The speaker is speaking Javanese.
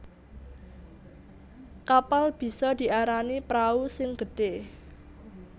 Kapal bisa diarani prau sing gedhé